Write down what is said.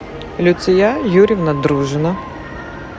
люция юрьевна дружина